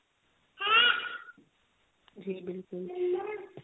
ਜੀ ਬਿਲਕੁਲ